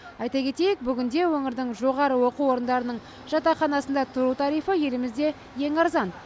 айта кетейік бүгінде өңірдің жоғары оқу орындарының жатақханасында тұру тарифі елімізде ең арзан